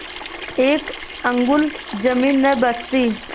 एक अंगुल जमीन न बचती